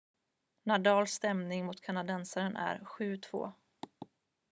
nadals ställning mot kanadensaren är 7-2